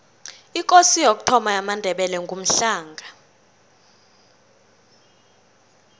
ikosi yokuthoma yamandebele ngumhlanga